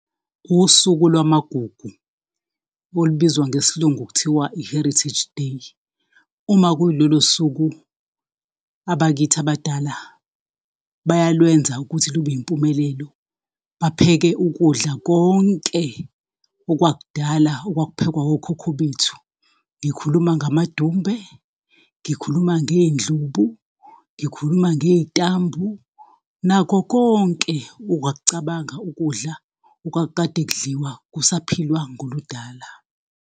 Usuku lwamagugu olubizwa ngesilungu kuthiwa i-heritage day, uma kuwulolo suku abakithi abadala, bayalwenza ukuthi lube yimpumelelo, bapheke ukudla konke okwakudala okwakuphekwa okhokho bethu, ngikhuluma ngamadumbe, ngikhuluma ngey'ndlubu, ngikhuluma ngey'tambu, nakho konke ongakucabanga ukudla okwakukade kudliwa kusaphilwa ngoludala.